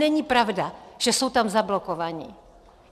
Není pravda, že jsou tam zablokovaní.